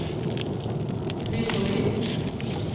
Tripoli